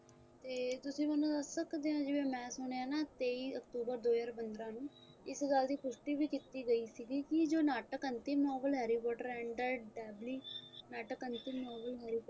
ਤੇ ਤੁਸੀਂ ਮੈਨੂੰ ਦੱਸ ਸਕਦੇ ਹੋ ਜਿਵੇਂ ਕਿ ਮੈਂ ਸੁਣਿਆ ਤੇਈ octuber ਦੋ ਹਜ਼ਾਰ ਪੰਦਰਾਂ ਨੂੰ ਇਸ ਗੱਲ ਦੀ ਪੁਸ਼ਟੀ ਵੀ ਕੀਤੀ ਗਈ ਸੀ ਜੋ ਨਾਟਕ ਅੰਤਿਮ harry potter and the dabbely ਨਾਟਕ ਅੰਤਿਮ novel ਹੋਊਗਾ